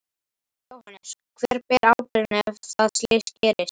Jóhannes: Hver ber ábyrgðina ef að slys gerist?